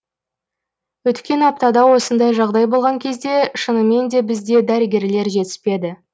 өткен аптада осындай жағдай болған кезде шынымен де бізде дәрігерлер жетіспеді